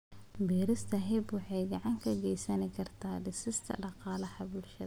Beerista hemp waxay gacan ka geysan kartaa dhisidda dhaqaalaha bulshada.